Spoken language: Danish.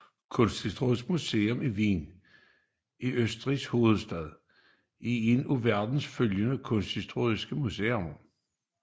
Kunsthistorisk Museum Wien i Østrigs hovedstad er et af verdens førende kunsthistoriske museer